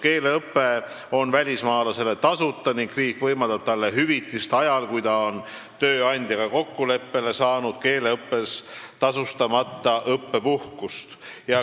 Keeleõpe on välismaalasele tasuta ning riik võimaldab talle hüvitist ajal, kui ta on kokkuleppel tööandjaga saanud keeleõppeks tasustamata õppepuhkust.